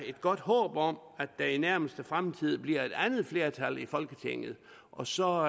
et godt håb om at der i den nærmeste fremtid bliver et andet flertal i folketinget og så